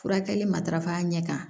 Furakɛli matarafa ɲɛ kan